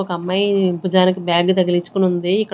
ఒక అమ్మాయి భుజానికి బ్యాగ్ తగిలిచ్చుకొని ఉంది.